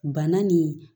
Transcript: Bana nin